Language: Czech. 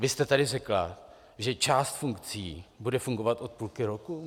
Vy jste tady řekla, že část funkcí bude fungovat od půlky roku.